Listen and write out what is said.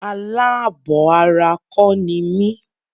Alábọ̀ ara kọ́ ni mí.